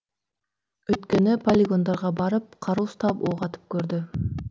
өйткені полигондарға барып қару ұстап оқ атып көрді